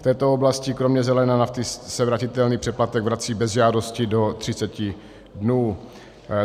V této oblasti kromě zelené nafty se vratitelný přeplatek vrací bez žádosti do 30 dnů.